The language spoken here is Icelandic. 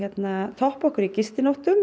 toppa okkur í gistinóttum